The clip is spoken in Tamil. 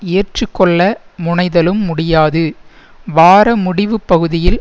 ஏற்றுக்கொள்ள முனைதலும் முடியாது வார முடிவுப் பகுதியில்